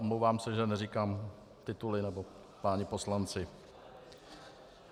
Omlouvám se, že neříkám tituly nebo páni poslanci.